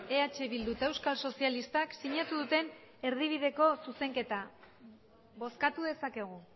eh bildu eta euskal sozialistak sinatu duten erdibideko zuzenketa bozkatu dezakegu